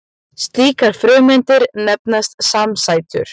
Slíkar frumeindir nefnast samsætur.